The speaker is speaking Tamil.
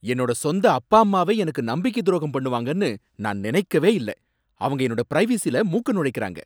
என்னோட சொந்த அப்பா அம்மாவே எனக்கு நம்பிக்கை துரோகம் பண்ணுவாங்கனு நான் நினைக்கவே இல்ல. அவங்க என்னோட பிரைவசில மூக்கை நுழைக்கறாங்க.